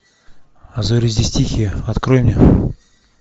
а зори здесь тихие открой мне